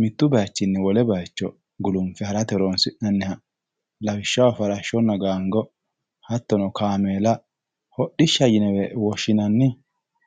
mitte bayichinni wole bayiicho gulunfe harate horonsi'nanniha lawishshaho farashshonna gaango hattono kaameela hodhishshaho yinewe woshshinanni.